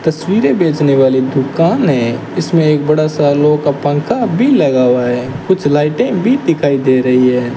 तस्वीरें बेचने वाली दुकान है इसमें एक बड़ा सालों का पंखा भी लगा हुआ है कुछ लाइटें भी दिखाई दे रही है।